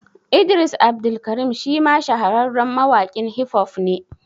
Idris Abdulkarim shi ma shahararren mawaƙin Hif hof ne